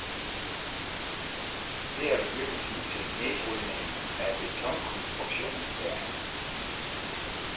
Det er begyndelsen til nedbrydningen af betonkonstruktionen, sagde han.